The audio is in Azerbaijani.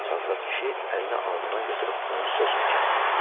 Çatsad kişi əlini alnından götürüb onun sözünü kəsdi.